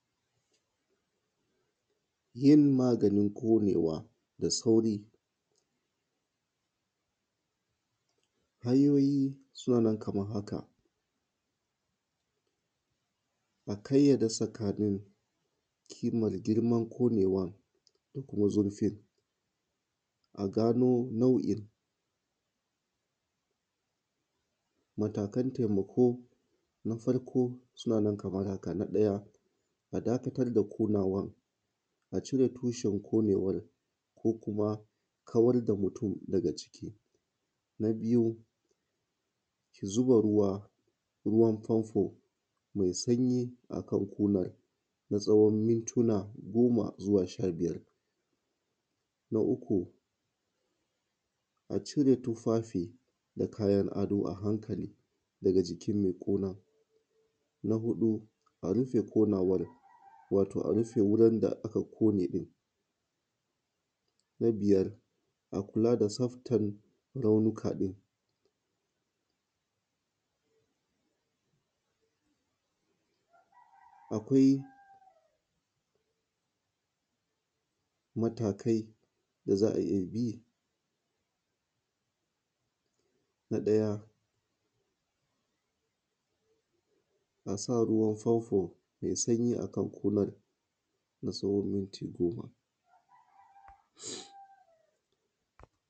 Yin maganin ƙonewa da sauri hanayoyi suna nan kaman haka a ƙayyade kimar tsakaninn girman ƙonewan a gano nau’in matakan taimako na farko sunana kaman haka na ɗaya a dakatar da ƙonewan a cire tushen ƙonewan ko kuma a kawar da mutun daga ciki na biya zuba ruwan fanfo mɛ sanyi akan ƙonan na tsawon minuta goma shabiyar na talatu a cire tufafi da kayan ado a hankali daga jikin mɛ ƙonan na huɗu a rufe ƙonewan wato a rufe wajen da aka ƙone na biyar a kula da tsaftan raunukan akwai matakai da za a’iya bi na ɗaya asa ruwan fanfo mɛ sanyi akan ƙonan na tsawon minuti goma